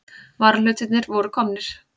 Varahlutirnir voru komnir.